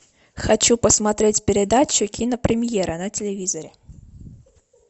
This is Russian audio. хочу посмотреть передачу кинопремьера на телевизоре